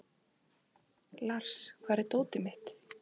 Lars, hvar er dótið mitt?